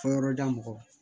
Fɔ yɔrɔ da mɔgɔw